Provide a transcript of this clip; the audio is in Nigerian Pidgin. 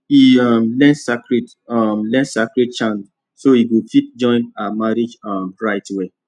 e um learn sacred um learn sacred chants so e go fit join her marriage um rites well